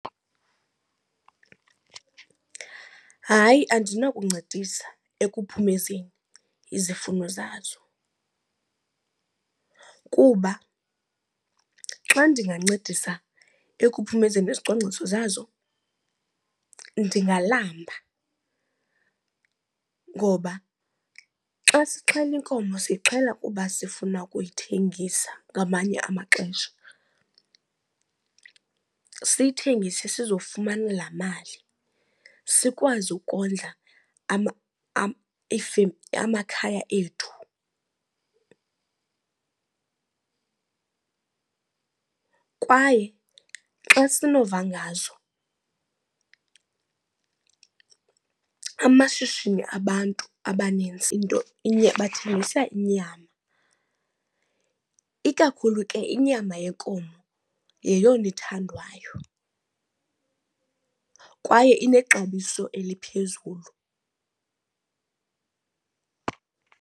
Hayi, andinokuncedisa ekuphumezeni izifuno zazo. Kuba xa ndingancedisa ekuphumezeni izicwangciso zazo ndingalamba ngoba xa sixhele inkomo siyixhele kuba sifuna ukuyithengisa ngamanye amaxesha. Siyithengise sizofumana laa mali sikwazi ukondla amakhaya ethu. Kwaye xa sinova ngazo amashishini abantu abanintsi into inye bathengisa inyama. Ikakhulu ke inyama yenkomo yeyona ithandwayo kwaye inexabiso eliphezulu.